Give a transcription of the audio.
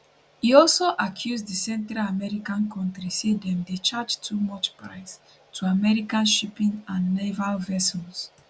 e also accuse di central american kontri say dem dey charge too much price to american shipping and naval vessels